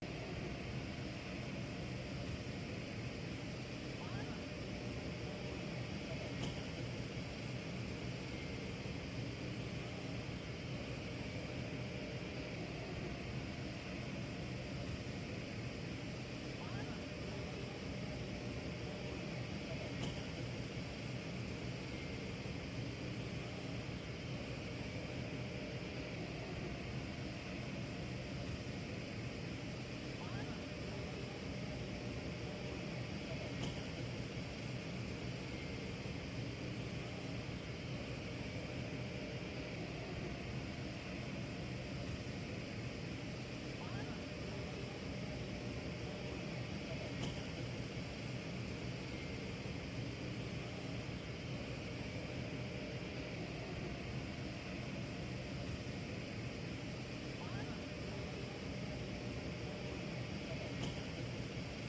Arxa plan səsi.